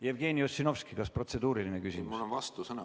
Jevgeni Ossinovski, kas protseduuriline küsimus?